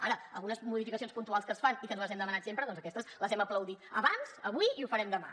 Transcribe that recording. ara algunes modificacions puntuals que es fan i que nosaltres hem demanat sempre doncs aquestes les hem aplaudit abans avui i ho farem demà